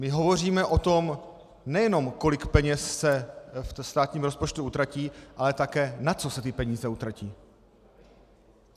My hovoříme o tom, nejenom kolik peněz se ve státním rozpočtu utratí, ale také na co se ty peníze utratí.